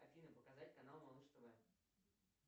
афина показать канал малыш тв